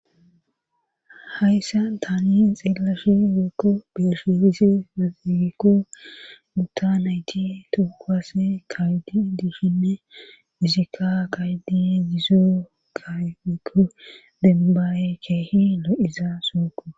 hayssan tani xeellashe woykko be7ashe dize woykko gutta nayti toho kuwase kaa7idi dishini izikka kaa7iidi dizo kaa7ay woykko dembbay keehi lo7iza sohokko.